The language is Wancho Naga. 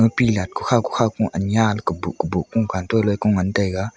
lilat kokhaw kokhaw ko anya ley koboh koboh kung kantu luikung ngantaiga.